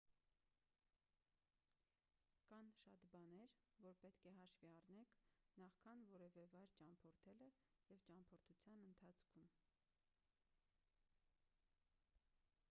կան շատ բաներ որ պետք է հաշվի առնեք նախքան որևէ վայր ճամփորդելը և ճամփորդության ընթացքում